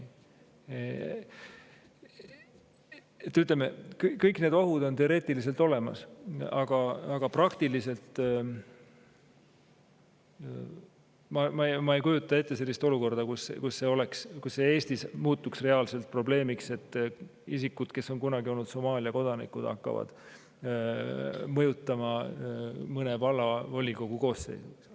Ütleme, kõik need ohud on teoreetiliselt olemas, aga ma ei kujuta ette sellist olukorda, kus Eestis muutuks reaalselt probleemiks, et isikud, kes on kunagi olnud Somaalia kodanikud, hakkavad mõjutama mõne vallavolikogu koosseisu.